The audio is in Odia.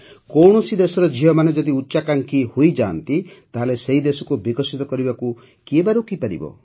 କୌଣସି ଦେଶର ଝିଅମାନେ ଯଦି ଉଚ୍ଚାକାଂକ୍ଷୀ ହୋଇଯାଆନ୍ତି ତାହେଲେ ସେହି ଦେଶକୁ ବିକଶିତ ହେବାକୁ କିଏ ବା ରୋକିପାରିବ